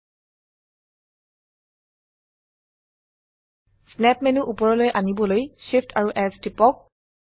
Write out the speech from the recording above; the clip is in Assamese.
স্ন্যাপ মেনু উপৰলৈ আনিবলৈ Shift এএমপি S টিপক